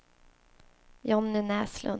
Jonny Näslund